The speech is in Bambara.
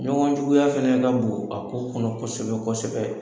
Ɲɔgɔn juguya fɛnɛ ka bon a ko kɔnɔ kosɛbɛ kosɛbɛ.